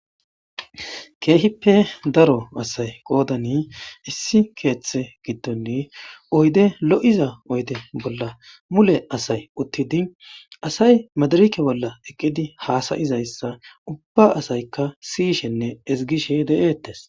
keehippe daro asay qoodani issi keeththe gidonni oyde lo7iza oyde bolla mule asay uttidi asay madirake bolla eqqidi haasayizayssa ubba asaykka siyishenne ezigishe de7eettes